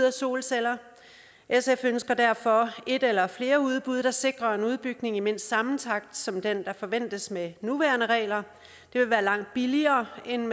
af solceller sf ønsker derfor et eller flere udbud der sikrer en udbygning i mindst samme takt som den der forventes med de nuværende regler det vil være langt billigere end